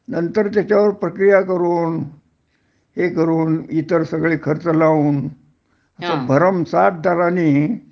नंतर त्याच्यावर प्रक्रिया करून हे करून इतर सगळे खर्च लावून भरमसाठ दरांनी